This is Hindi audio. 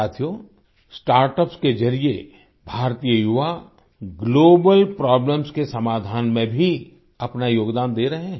साथियो स्टार्टअप्स के जरिये भारतीय युवा ग्लोबल प्रॉब्लम्स के समाधान में भी अपना योगदान दे रहे हैं